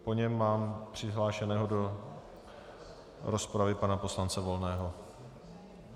Po něm mám přihlášeného do rozpravy pana poslance Volného .